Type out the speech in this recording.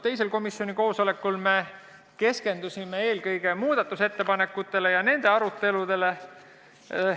Teisel koosolekul keskendusime eelkõige muudatusettepanekutele ja nende arutelule.